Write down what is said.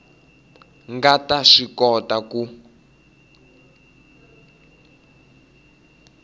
nga ta swi kota ku